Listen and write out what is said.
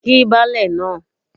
Kí baálẹ̀ náà